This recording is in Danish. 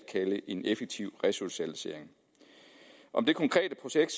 kalde en effektiv resocialisering om det konkrete projekt